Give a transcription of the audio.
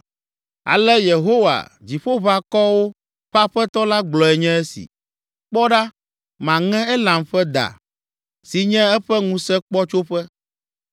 Ale Yehowa, Dziƒoʋakɔwo ƒe Aƒetɔ la gblɔe nye esi: “Kpɔ ɖa, maŋe Elam ƒe da, si nye eƒe ŋusẽkpɔtsoƒe.